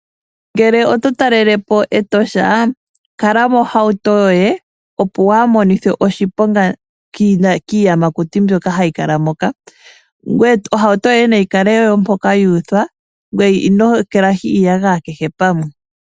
Ngele oto talelapo Etosha kala mohauto yoye opo wuhamonithwe oshiponga kiiyamakuti mbyok hayi kala moka. Ohauto yoye nayi kale mpoka yu uthwa ngoye ino ekalahi iiyagaya kehe pamwe.